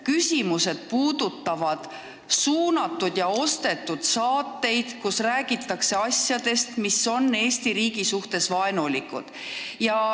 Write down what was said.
Küsimused puudutavad suunatud ja ostetud saateid, kus räägitakse asjadest, mis on Eesti riigi suhtes vaenulikud.